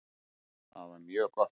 Það var mjög gott.